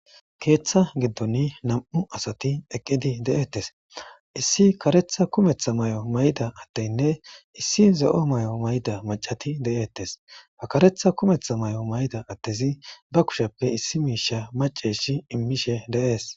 keeththa giddon nam7u asati eqqidi de7ettes issi karetha kumetha may7o mayda atteynne issi zo7o may7o mayda macati de7eettes hakaretha kumetha may7o mayda attezi ba kushappe issi miisha maceeshi immishe de7ees